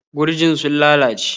Gurjin sun lalace.